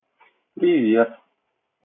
привет